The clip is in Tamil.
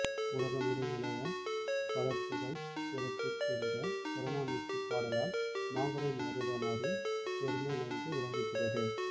உலகமொடு நிலைஇய பலர்புகழ் சிறப்பிற் என்ற புறநானூற்றுப்பாடலால் மாங்குடி மருதனாரின் பெருமை நன்கு விளங்குகிறது